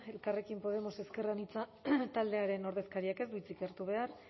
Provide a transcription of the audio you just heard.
elkarrekin podemos ezker anitza taldearen ordezkariak ez du hitzik hartu behar